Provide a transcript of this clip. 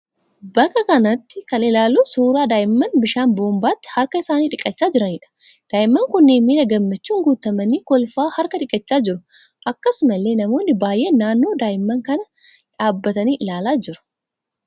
Bakka kanatti kan ilaallu suuraa daa'imman bishaan boombaatti harka isaanii dhiqachaa jiraniidha. Daa'imman kunneen miira gammachuun guutamanii kolfaa harka dhiqachaa jiru. Akkasumallee namoonni baay'een naannoo daa'imman kanaa dhaabbatanii ilaalaa jiru.